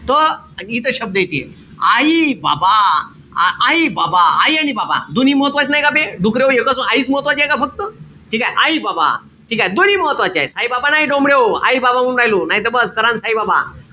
त इथं शब्द येते. आई-बाबा. आई-बाबा आई आणि बाबा. दोन्ही महत्वाचे नाई का बे? डुकऱ्याहो एकच आईच महत्वाचीय का फक्त? ठीकेय? आई-बाबा. ठीकेय? दोन्ही महत्वाचेत. साई-बाबा नाई डोमड्याहो. आई-बाबा म्हणू राहिलो. नाई त बस करान साईबाबा.